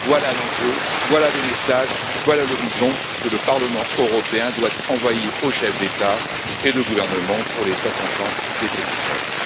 Voilà l'enjeu, voilà le message, voilà l'horizon que le Parlement européen doit envoyer aux chefs d'État et de gouvernement pour les 60 ans des traités de Rome.